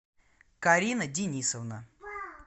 карина денисовна